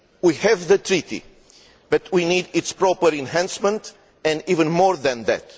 We have the treaty, but we need its proper enhancement and even more than that.